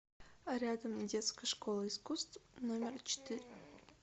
рядом детская школа искусств номер четыре